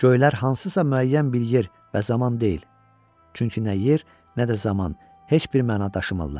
Göylər hansısa müəyyən bir yer və zaman deyil, çünki nə yer, nə də zaman heç bir məna daşımırlar.